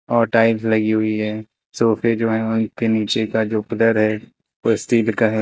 और टाइल्स लगी हुई है सोफे जो है उनके नीचे का जो पिलर है वो स्टील का है।